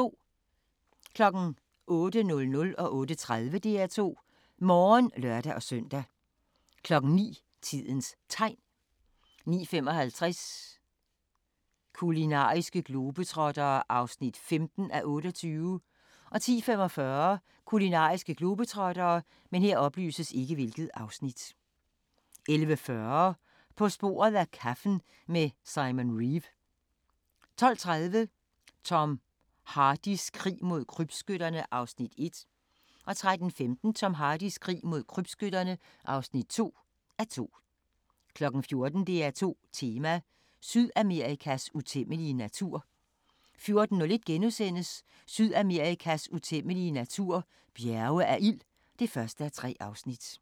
08:00: DR2 Morgen (lør-søn) 08:30: DR2 Morgen (lør-søn) 09:00: Tidens Tegn 09:55: Kulinariske globetrottere (15:28) 10:45: Kulinariske globetrottere 11:40: På sporet af kaffen med Simon Reeve 12:30: Tom Hardys krig mod krybskytterne (1:2) 13:15: Tom Hardys krig mod krybskytterne (2:2) 14:00: DR2 Tema: Sydamerikas utæmmelig natur 14:01: Sydamerikas utæmmelige natur – Bjerge af ild (1:3)*